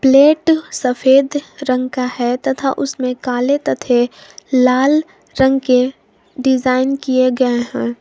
Plate सफेद रंग का है तथा उसमें काले तथे लाल रंग के डिजाइन किए गए हैं।